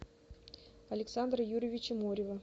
александра юрьевича морева